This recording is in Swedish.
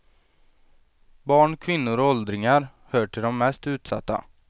Barn, kvinnor och åldringar hör till de mest utsatta.